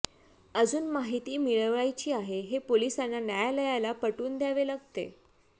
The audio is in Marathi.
अजुन माहीती मिळवायची आहे हे पोलिसांना न्यायालयाला पटवुन द्यावे लागते